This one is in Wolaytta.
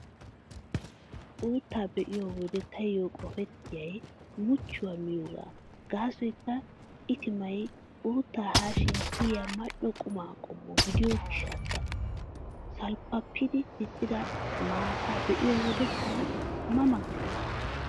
Uuttaa be'iyo wode taayyo qopettiyay muchchuwaa miyoogaa gaasoykka itimay uuttaa haashin kiyiyaa mal"o quma qommo gidiyo gishshawu. Salppappi diccida maataa be'iyo wode tana ma ma gees.